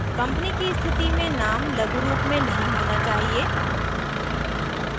company की स्थिति में name लघुरूप में नहीं होना चाहिए